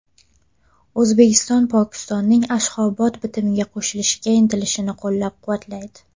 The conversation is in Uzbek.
O‘zbekiston Pokistonning Ashxobod bitimiga qo‘shilishga intilishini qo‘llab-quvvatlaydi.